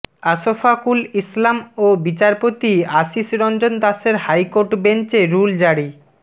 আশফাকুল ইসলাম ও বিচারপতি আশীষ রঞ্জন দাসের হাইকোর্ট বেঞ্চ এ রুল জারি